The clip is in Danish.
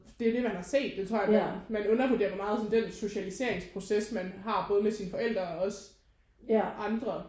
Det er jo det man har set det tror jeg man man undervurderer hvor meget sådan den socialiseringsproces man har både med sine forældre og også andre